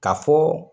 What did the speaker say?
Ka fɔ